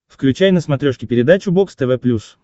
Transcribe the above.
включай на смотрешке передачу бокс тв плюс